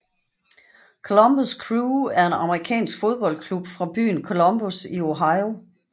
Columbus Crew er en amerikansk fodboldklub fra byen Columbus i Ohio